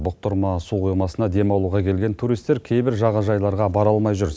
бұқтырма су қоймасына демалуға келген туристер кейбір жағажайларға бара алмай жүр